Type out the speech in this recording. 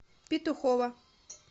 петухова